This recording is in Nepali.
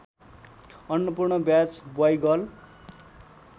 अन्नपूर्ण ब्याज ब्वाइगर्ल